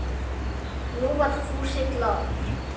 Nú var Fúsi glaður.